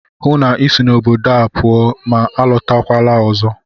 Hụụ na Ị si n'obodo pụọ ma alọtakwala ọzọ!